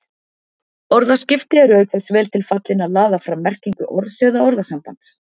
Orðaskipti eru auk þess vel til þess fallin að laða fram merkingu orðs eða orðasambands